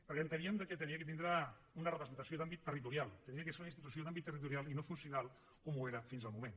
perquè enteníem que havia de tindre una representació d’àmbit territorial havia de ser una institució d’àmbit territorial i no funcional com ho era fins al moment